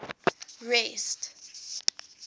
rest